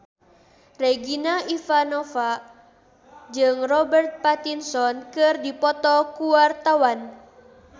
Regina Ivanova jeung Robert Pattinson keur dipoto ku wartawan